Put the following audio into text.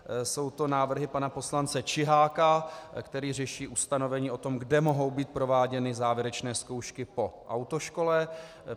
Jsou to návrhy pana poslance Čiháka, který řeší ustanovení o tom, kde mohou být prováděny závěrečné zkoušky po autoškole.